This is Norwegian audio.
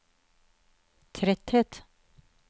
tretthet